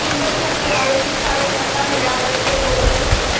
मुंबईमध्ये आयोजित कार्यकर्ता मेळाव्यात ते बोलत होते.